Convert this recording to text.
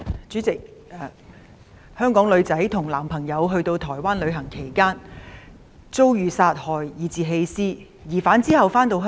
主席，一名香港女生與男朋友到台灣旅行期間遭殺害及被棄屍，疑犯其後回到香港。